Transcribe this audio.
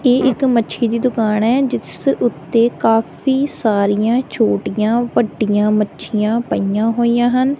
ਇਹ ਇਕ ਮੱਛੀ ਦੀ ਦੁਕਾਨ ਹੈ ਜਿਸ ਉੱਤੇ ਕਾਫੀ ਸਾਰੀਆਂ ਛੋਟੀਆਂ ਵੱਡੀਆਂ ਮੱਛੀਆਂ ਪਈਆਂ ਹੋਈਆਂ ਹਨ।